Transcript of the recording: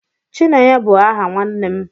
Chinenye bu aha nwannem